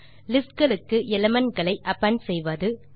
list களுக்கு element களை append செய்வது